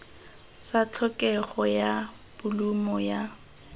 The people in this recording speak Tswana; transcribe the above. sa tlhokegeng ya bolumo ya